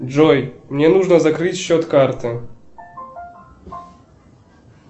джой мне нужно закрыть счет карты